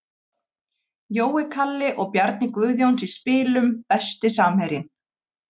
Jói Kalli og Bjarni Guðjóns í spilum Besti samherjinn?